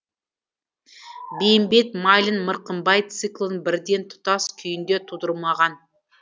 бейімбет майлин мырқымбай циклын бірден тұтас күйінде тудырмаған